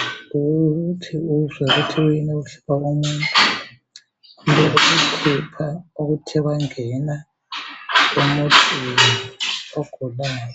ukuthi uzwe ukuthi kuyini okuhlupha umuntu Ukukhupha okuthe kwangena emuntwini ogulayo.